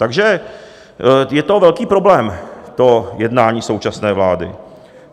Takže je to velký problém, to jednání současné vlády.